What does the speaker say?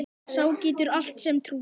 Sá getur allt sem trúir.